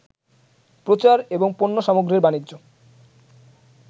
প্রচার এবং পণ্যসামগ্রীর বাণিজ্য